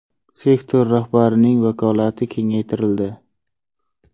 Sektor rahbarining vakolati kengaytirildi.